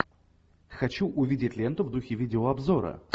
хочу увидеть ленту в духе видеообзора